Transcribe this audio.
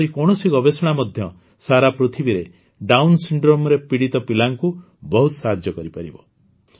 ଏପରି କୌଣସି ଗବେଷଣା ମଧ୍ୟ ସାରା ପୃଥିବୀରେ ଡାଉନ୍ ସିଣ୍ଡ୍ରୋମରେ ପୀଡ଼ିତ ପିଲାଙ୍କୁ ବହୁତ ସାହାଯ୍ୟ କରିପାରିବ